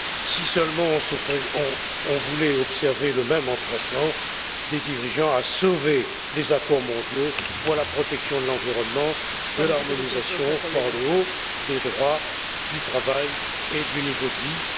Si seulement on voulait observer le même empressement des dirigeants à sauver les accords mondiaux pour la protection de l'environnement, l'harmonisation par le haut des droits du travail et du niveau de vie.